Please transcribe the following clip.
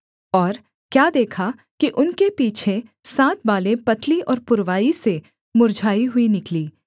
और क्या देखा कि उनके पीछे सात बालें पतली और पुरवाई से मुर्झाई हुई निकलीं